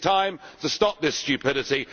It is time to stop this stupidity.